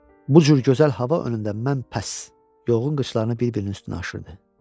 Bu cür gözəl hava önündə mən pəss, yoğurun qışlarını bir-birinin üstünə aşırdı.